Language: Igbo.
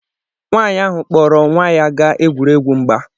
Nwanyị ahụ kpọọrọ nwa ya gaa egwuregwu mgba